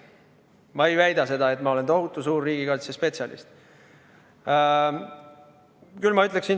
Ma ei väida seda, et ma olen tohutu suur riigikaitsespetsialist!